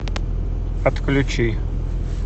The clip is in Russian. отключи